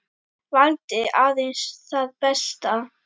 Valdi aðeins það besta.